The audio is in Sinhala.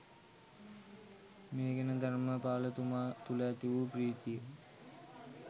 මේ ගැන ධර්‍මපාල තුමා තුළ ඇති වූ ප්‍රීතිය